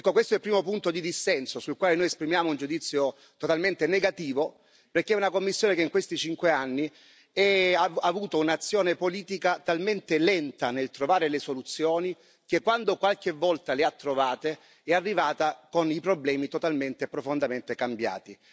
Ecco, questo è il primo punto di dissenso, sul quale noi esprimiamo un giudizio totalmente negativo, perché è una Commissione che in questi cinque anni ha avuto un'azione politica talmente lenta nel trovare le soluzioni che, quando qualche volta le ha trovate, è arrivata con i problemi totalmente e profondamente cambiati.